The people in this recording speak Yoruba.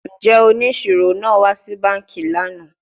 Njẹ oniṣiro naa wa si banki lana?